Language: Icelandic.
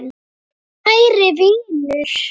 Kæri vinur.